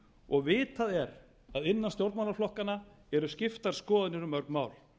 og vitað er að innan stjórnmálaflokkanna eru skiptar skoðanir um mörg mál